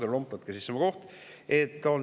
Härra Lomp, võtke sisse oma koht.